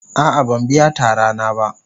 A'a ban biya tara na ba.